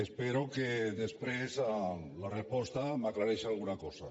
espero que després amb la resposta m’aclareixi alguna cosa